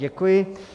Děkuji.